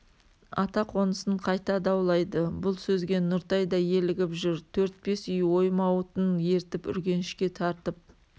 ата қонысын қайта даулайды бұл сөзге нұртай да елігіп жүр төрт-бес үй оймауытын ертіп үргенішке тартып